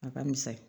A ka misali